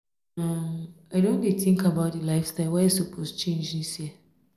um i don dey tink about di lifestyle wey i um suppose change dis year.